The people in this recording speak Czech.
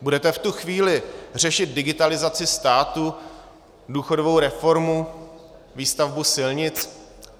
Budete v tu chvíli řešit digitalizaci státu, důchodovou reformu, výstavbu silnic?